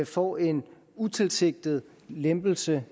får en utilsigtet lempelse